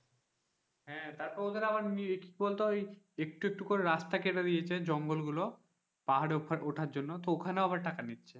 হ্যাঁ তারপর ওদের আবার কি বলতো ওই একটু একটু করে রাস্তা কেটে দিয়েছে জঙ্গল গুলো পাহাড়ে ওঠার জন্য তো ওখানেও আবার টাকা নিচ্ছে,